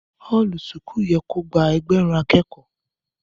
Ọlú súkù yẹ kó gbà ẹgbẹrún àkẹkọ